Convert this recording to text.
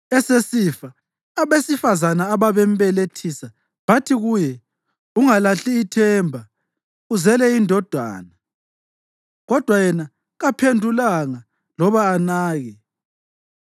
Esesifa, abesifazane ababembelethisa bathi kuye, “Ungalahli ithemba; uzele indodana.” Kodwa yena kaphendulanga loba anake.